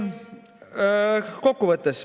Kokkuvõtteks.